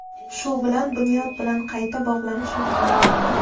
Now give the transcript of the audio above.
Shu bilan Bunyod bilan qayta bog‘lanish imkoni bo‘lmagan.